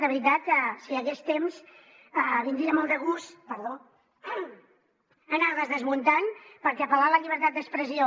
de veritat que si hi hagués temps vindria molt de gust anar les desmuntant perquè apel·lar a la llibertat d’expressió